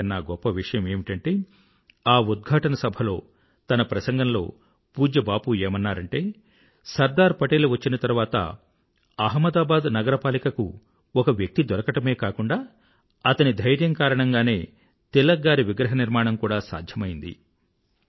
అన్నింటికన్నా గొప్ప విషయమేమిటంటే ఆ ఉద్ఘాటన సభలో తన ప్రసంగంలో పూజ్య బాపూ ఏమన్నారంటే సర్దార్ పటేల్ వచ్చిన తరువాత అహ్మదాబాద్ నగరపాలిక కు ఒక వ్యక్తి దొరకడామే కాకుండా అతని ధర్యం కారణంగానే తిలక్ గారి విగ్రహ నిర్మాణం కూడా సాధ్యమైంది